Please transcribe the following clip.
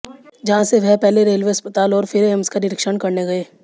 जहां से वह पहले रेलवे अस्पताल और फिर एम्स का निरीक्षण करने गए